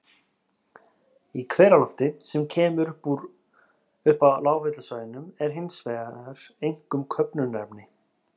Í hveralofti, sem kemur upp á lághitasvæðunum, er hins vegar einkum köfnunarefni.